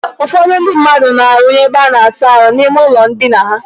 Ụfọdụ ndị mmadụ na-arụnye ebe a na-asa ahụ n'ime ụlọ ndina ha.